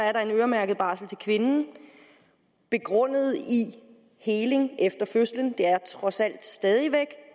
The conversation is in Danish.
er der en øremærket barsel til kvinden begrundet i heling efter fødslen det er trods alt stadig væk